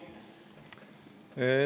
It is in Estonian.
Teie aeg!